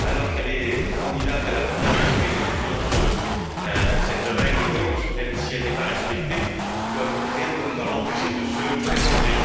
Elle est candidate à la première vice présidence selon cette règle d'Hondt, même si elle n'est pas respectée, et rien ne doit pouvoir l'empêcher de se présenter.